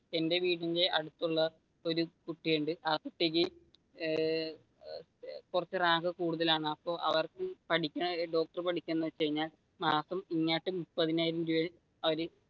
എന്റെ വീടിന്റെ അടുത്തുള്ള ഒരു കുട്ടിയുണ്ട് ആ കുട്ടിക്ക് ഏർ കുറച്ചു റാങ്ക് കൂടുതലാണ് അപ്പൊ അവർക്ക് മാസം ഇങ്ങാട്ട് മുപ്പതിനായിരം അവർ